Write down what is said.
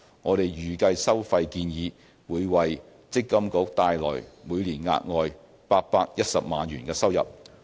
我們預計收費建議會為積金局帶來每年額外810萬元收入。